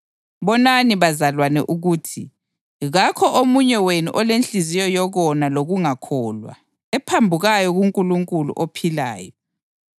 Bonani bazalwane ukuthi kakho omunye wenu olenhliziyo yokona lokungakholwa, ephambukayo kuNkulunkulu ophilayo.